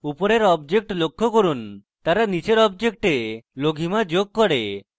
উপরের objects লক্ষ্য করুন; তারা নীচের objects লঘিমা যোগ করে